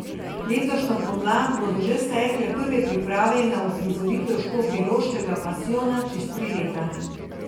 Letošnjo pomlad bodo že stekle prve priprave na uprizoritev Škofjeloškega pasijona čez tri leta.